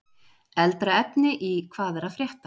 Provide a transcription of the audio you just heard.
Eldra efni í Hvað er að frétta?